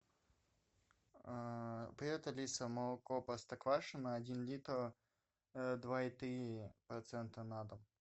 привет алиса молоко простоквашино один литр два и три процента на дом